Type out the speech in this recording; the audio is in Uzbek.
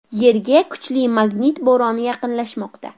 Yerga kuchli magnit bo‘roni yaqinlashmoqda.